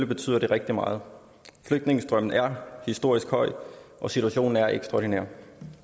betyder det rigtig meget flygtningestrømmen er historisk høj og situationen er ekstraordinær